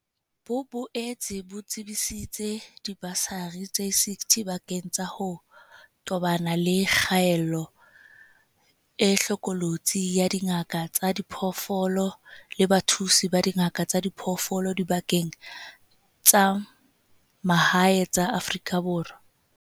Bo boetse bo tsebisitse dibasari tse 60 bakeng sa ho tobana le kgaello e hlokolosi ya dingaka tsa diphoofolo le bathusi ba dingaka tsa diphoofolo dibakeng tsa mahae tsa Afrika Borwa.